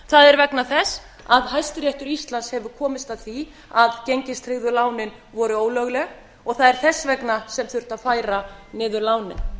er vegna þess að hæstiréttur íslands hefur komist að því að gengistryggðu lánin voru ólögleg og það er þess vegna sem þurfti að færa niður lánin